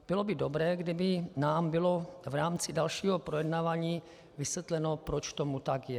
Bylo by dobré, kdyby nám bylo v rámci dalšího projednávání vysvětleno, proč tomu tak je.